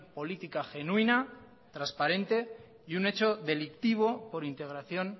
política genuina transparente y un hecho delictivo por integración